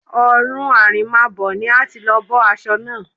Ọ̀run àrèmábọ̀ ni a ti lọ bọ́ aṣọ náà